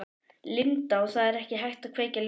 Linda: Og það er ekki hægt að kveikja ljósin?